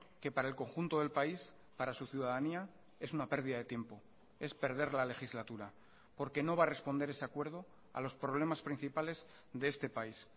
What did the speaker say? que para el conjunto del país para su ciudadanía es una pérdida de tiempo es perder la legislatura porque no va a responder ese acuerdo a los problemas principales de este país